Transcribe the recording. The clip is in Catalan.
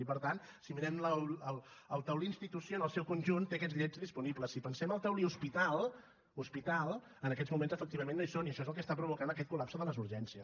i per tant si mirem el taulí institució en el seu conjunt té aquests llits disponibles si pensem el taulí hospital hospital en aquests moments efectivament no hi són i això és el que està provocant aquest col·lapse de les urgències